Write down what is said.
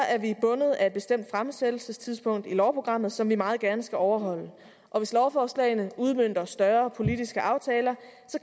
er vi bundet af et bestemt fremsættelsestidspunkt i lovprogrammet som vi meget gerne skal overholde og hvis lovforslagene udmønter større politiske aftaler